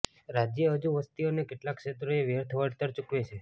રાજ્ય હજુ વસ્તી અને કેટલાક ક્ષેત્રોએ વ્યર્થ વળતર ચુકવે છે